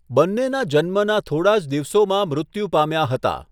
બંનેના જન્મના થોડા જ દિવસોમાં મૃત્યુ પામ્યા હતા.